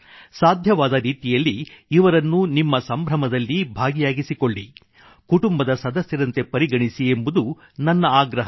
ಸಾಧ್ಯವಾದ ರೀತಿಯಲ್ಲಿ ಇವರನ್ನು ನಿಮ್ಮ ಸಂಭ್ರಮದಲ್ಲಿ ಭಾಗಿಯಾಗಿಸಿಕೊಳ್ಳಿ ಕುಟುಂಬದ ಸದಸ್ಯರಂತೆ ಪರಿಗಣಿಸಿ ಎಂಬುದು ನನ್ನ ಆಗ್ರಹ